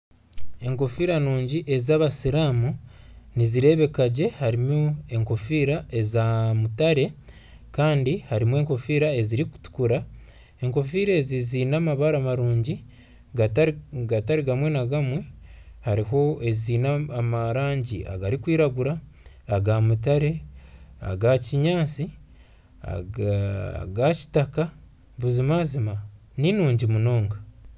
Enkofira nungi ezabasiramu nizirebeka gye. Harimu enkofiira eza mutare kandi harimu enkofiira eziri kutukura. Enkofiira ezi zeine amabara marungi gatari gamwe na gamwe. Hariho ezeine erangi erikwiragura eya mutare, eya kinyaatsi, eya kitaka, buzima zima ninungi munonga.